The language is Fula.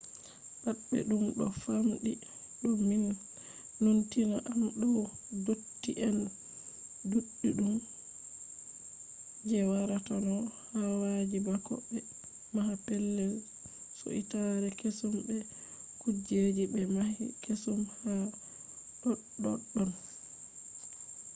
pat ɓe ɗum ɗo famɗi ɗo numtina am dow dotti en ɗuɗɗum je waratano hawayi bako ɓe maha pellel suitare kesum be kujeji ɓe mahi kesum ha ɗoɗɗon